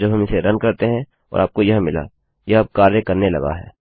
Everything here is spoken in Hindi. और जब हम इसे रन करते हैं और आपको यह मिला यह अब कार्य करने लगा है